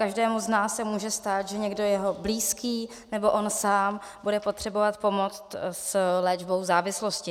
Každému z nás se může stát, že někdo, jeho blízký nebo on sám, bude potřebovat pomoct s léčbou závislosti.